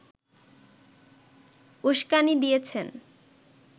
উস্কানি দিয়েছেন